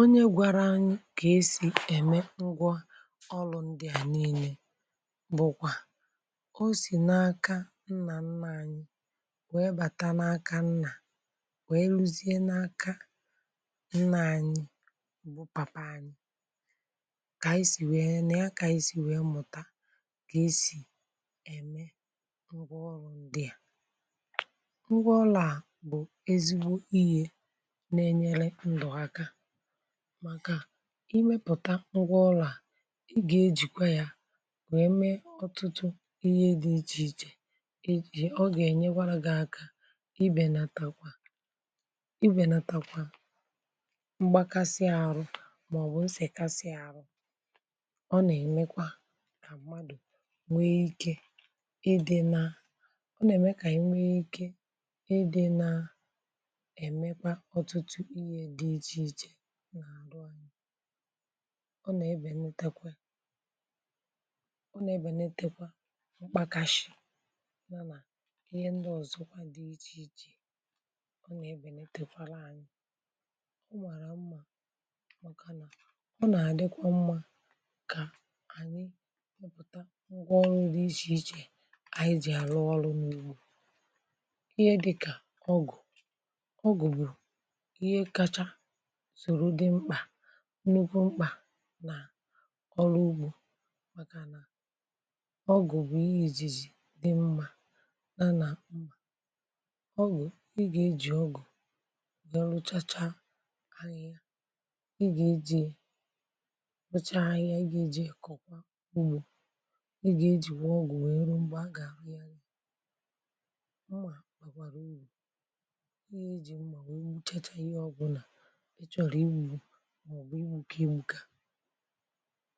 Onye gwara anyi kà esì ème ngwọ ọrụ ndị à niilė bụkwà, o sì n’aka nnà nnà anyi wèe bata n’aka nnà wèe lùzie n’aka nnà anyi bu papa anyi. Kà esì wèe nà ya kà esì wèe mụ̀ta kà esì ème ngwọ ọrụ ndịà, ngwọ ọru bụ̀ ezigbo ihė nenyere ndu aka. Maka imepụ̀ta ngwa ụlọ̀ a ị gà-ejìkwa ya wèe mee ọtụtụ ihe dị̇ ichè ichè ejì ọ gà-ènyekwara gị̇ aka ibènàtakwa ibènàtakwa mgbakasị àrụ, mà ọbụ̀ m sèkasị àrụ. Ọ nà-èmekwa na mmadụ̀ nwee ikė ị dị̇ na ọ nà-ème kà inwe ike ide naa emekwa otutu ihe di ichè iche ọ nà-ebènitekwe ọ nà-ebènitekwa mkpakȧ shì nànà ihe ndị ọ̀zọ kwa dị̇ ichè ichè ọ nà-ebènitekwara ànyị ọ màrà mmȧ. Ọ nà-àdịkwa mmȧ kà ànyị mụtà ngwa ọrụ di ichè ichè ànyị jì àrụ ọrụ n’ugbȯ. Ihe dịkà ọgụ̀, ọgụ̀ bù ihe kacha soro ndi mkpa, nukwu mkpà nà ọrụ ugbȯ, maka nà ọgụ̀ bụ̀ ihe ìzizi dị mma na nà ọgụ̀ ị gà-ejì ọgụ̀ ọ rụchacha anyi ị gà-eji rụchaa anyi ị gà-ejì kụ̀kwà ugbȯ ị gà-ejì kwa ọgụ̀ nwèe eru mgbe agà-àhụ ya nù ọgụ̀ maọ̀bụ̀ iwu̇ kà egbu ga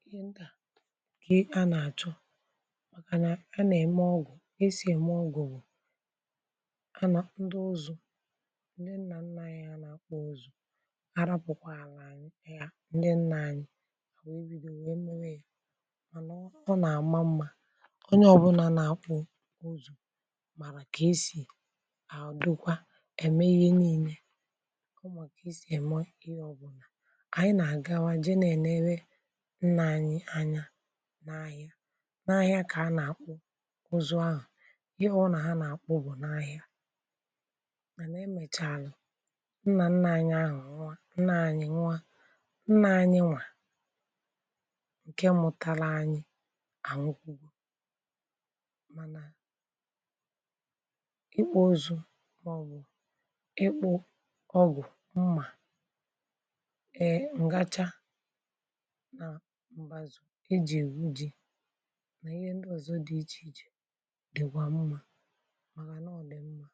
ihe ndà kà a nà-àchọ màkà nà a nà-ème ọgụ̀ e sì ème ọgụ̀ bụ̀ a nà ndị ụzọ̀ ndị nnà nna ya nà-akpọ uzù arapụ̀kwa a nà-anyị̇ ya ndị nnà anyị̇ wee biri nwee mụrụ ya mànà ọ nà-àma mmȧ onye ọbụnà nà-akpọ̇ ụzọ̀ màrà kà esì àdụkwa ème ihe niine ànyị ma kavesi me ihė obuna, nà-àgawa jee nà-ènere nnà anyị̇ anya n’ahịa n’ahịa kà a nà-àkpụ uzu ahụ̀ ihe ọ nà ha nà-àkpụ bụ̀ n’ahịa mànà emèchaalu nnà nna ànyị ahu nwụ̀, nna anyi nwu, nnà anyịwa ǹkẹ mụtara anyị ànwụkwugo, mànà ịkpụ ọzu màọbụ̀ ịkpụ ọgụ̀ nà mbazù iji.uj na ihe ndị ọzọ dị ichèichè dịkwa mma màrà nà ọ dị mma